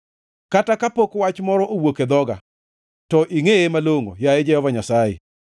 Kata kapok wach moro owuok e dhoga to ingʼeye malongʼo, yaye Jehova Nyasaye.